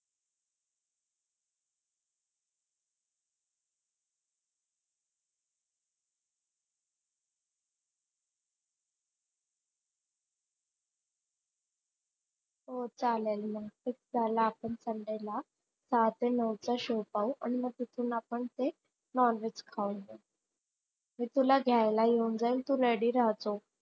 हो चालाल मग. आपण ला सहा ते नऊचा show पाहू आणि तिथून मग आपण non veg खाऊ.